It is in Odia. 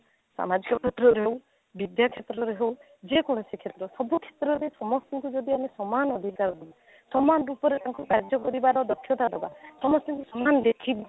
ସମାଜ କ୍ଷେତ୍ରରେ ହଉ ବିଦ୍ୟା କ୍ଷେତ୍ରରେ ହଉ ଯେ କୌଣସି କ୍ଷେତ୍ର ସବୁ କ୍ଷେତ୍ର ସମସ୍ତଙ୍କୁ ଯଦି ଆମେ ସମାନ ଅଧିକାର ଦେବା ସମାନ ରୂପରେ ତାଙ୍କୁ କାର୍ଯ୍ୟ କରିବାର ଦକ୍ଷତା ଦେବା ସମଷ୍ଟିଙ୍କୁ ସମାନ ଦେଖିବା